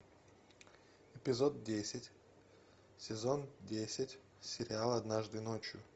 эпизод десять сезон десять сериал однажды ночью